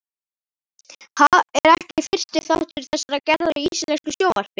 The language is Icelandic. Ha? er ekki fyrsti þáttur þessarar gerðar í íslensku sjónvarpi.